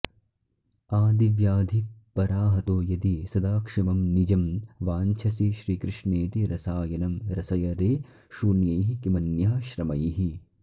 आधिव्याधिपराहतो यदि सदा क्षेमं निजं वाञ्छसि श्रीकृष्णेति रसायनं रसय रे शून्यैः किमन्यः श्रमैः